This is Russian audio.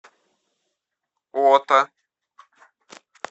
ота